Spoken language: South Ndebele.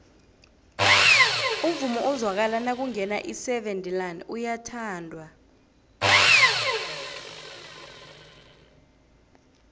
umvumo ozwakala nakungena iseven delaan uyathandwa